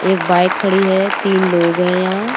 एक बाइक खड़ी है तीन लोग हैं यहाँ --